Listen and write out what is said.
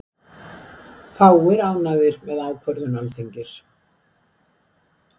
Fáir ánægðir með ákvörðun Alþingis